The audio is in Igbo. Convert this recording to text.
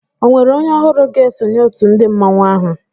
Ọ nwérè onye ọhụrụ ga-esonye òtù ndị mmanwu áhù?